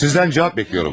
Sizdən cavab gözləyirəm.